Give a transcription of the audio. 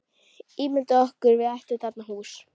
Ímyndað okkur að við ættum þarna hús.